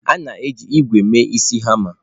A na-eji ígwè mee isi hama.